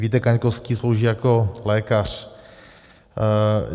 Vít Kaňkovský slouží jako lékař.